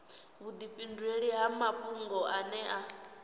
vhudifhinduleli ha mafhungo ane a